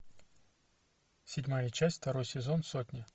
седьмая часть второй сезон сотня